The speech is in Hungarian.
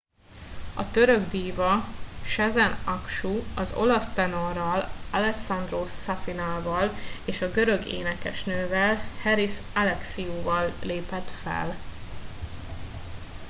a török díva sezen aksu az olasz tenorral alessandro safina val és a görög énekesnővel haris alexiou val lépett fel